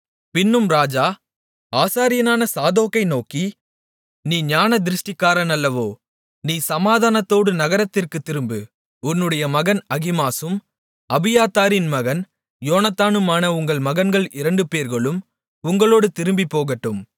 பின்னும் ராஜா ஆசாரியனான சாதோக்கை நோக்கி நீ ஞானதிருஷ்டிக்காரன் அல்லவோ நீ சமாதானத்தோடு நகரத்திற்குத் திரும்பு உன்னுடைய மகன் அகிமாசும் அபியத்தாரின் மகன் யோனத்தானுமான உங்கள் மகன்கள் இரண்டுபேர்களும் உங்களோடு திரும்பிப் போகட்டும்